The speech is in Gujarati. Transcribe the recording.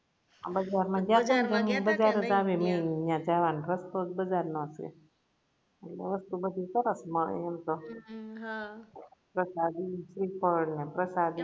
બજાર મા ગયા તા જાવાનો રસ્તો જ બજાર નો હશે હતુ બધુ સરસ એમ તો પ્રસાદી શ્રીફળ પ્રસાદી